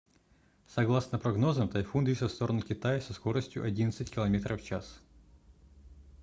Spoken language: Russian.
согласно прогнозам тайфун движется в сторону китая со скоростью одиннадцать километров в час